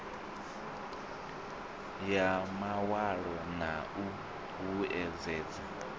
ya mawalo na u vhuedzedza